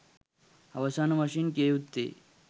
අවසාන වශයෙන් කිය යුත්තේ